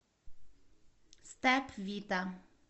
степ вита